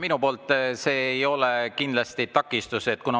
Minu poolt ei ole siin kindlasti takistust.